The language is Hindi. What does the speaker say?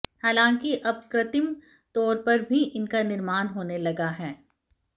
हालांकि अब कृतिम् तौर पर भी इनका निर्माण होने लगा हैं